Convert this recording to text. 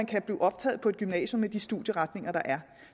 kan blive optaget på et gymnasium med de studieretninger der er